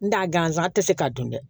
N t'a gansan tɛ se k'a dun dɛ